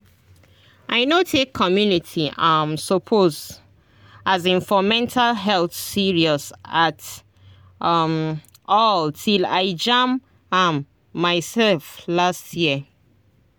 i no take community um support um for mental health serious at um all till i jam am myself last year